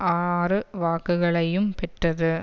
ஆறு வாக்குகளையும் பெற்றது